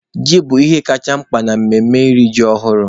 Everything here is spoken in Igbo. Ji bụ ihe kacha mkpa na emume iri ji ọhụrụ.